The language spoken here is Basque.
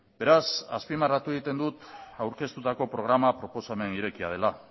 beraz azpimarratu egiten dut aurkeztutako programa proposamen irekia dela